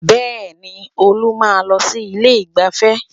Bẹ́ẹ̀ni Olú máa ń lọ sí ilé ìgbáfẹ́